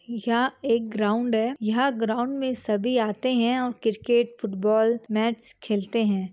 यह एक ग्राउन्ड है यह ग्राउन्ड मे सभी आते है और क्रिकेट फुटबॉल मैच खेलते है।